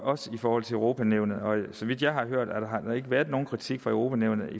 også i forhold til europa nævnet så vidt jeg har hørt har der ikke været nogen kritik fra europa nævnet